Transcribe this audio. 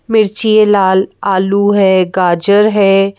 मिर्ची है लाल आलू है गाजर है।